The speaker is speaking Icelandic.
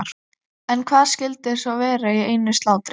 En hvað skyldi svo vera í einu slátri?